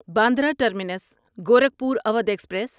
Bandra terminus Gorakhpur Awadh express